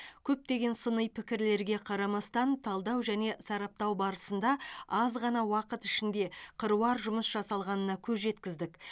көптеген сыни пікірлерге қарамастан талдау және сараптау барысында аз ғана уақыт ішінде қыруар жұмыс жасалғанына көз жеткіздік